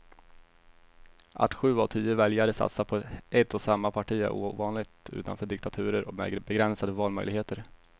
Att sju av tio väljare satsar på ett och samma parti är ovanligt utanför diktaturer med begränsade valmöjligheter.